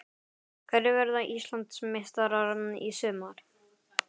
Hverjir verða Íslandsmeistarar í sumar?